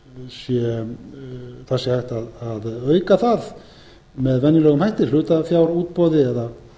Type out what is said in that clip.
að auka hlutafé í félaginu með venjulegum hætti hlutafjárútboði eða